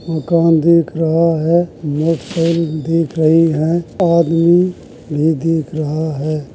मकान दीख दि रहा है। दीख रही है आदमी भी दिख रहा है।